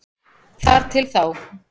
Þar til þá.